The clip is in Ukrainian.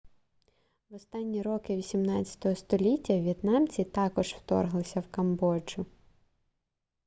в останні роки 18 століття в'єтнамці також вторглися в камбоджу